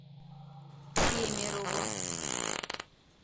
кемерово